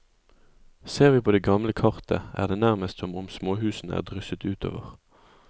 Ser vi på det gamle kartet, er det nærmest som om småhusene er drysset utover.